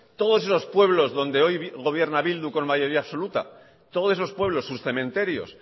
todos esos pueblos donde hoy gobierna bildu con mayoría absoluta todos esos pueblos sus cementerios